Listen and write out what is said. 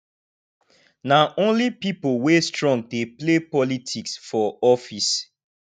na only pipo wey strong dey play politics for office